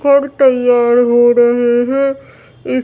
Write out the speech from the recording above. तैयार हो रहे हैं इस--